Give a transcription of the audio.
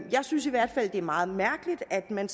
synes i hvert fald det er meget mærkeligt at man